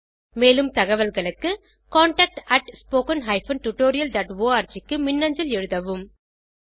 மேலும் தகவல்களுக்கு contactspoken tutorialorg க்கு மின்னஞ்சல் எழுதவும்